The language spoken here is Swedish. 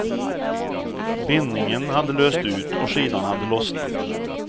Bindningen hade löst ut och skidan hade lossnat.